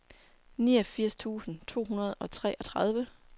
niogfirs tusind to hundrede og treogtredive